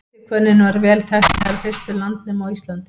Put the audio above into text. ætihvönnin var vel þekkt meðal fyrstu landnema á íslandi